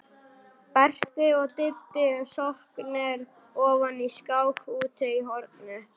Berti og Diddi sokknir ofan í skák úti í horni.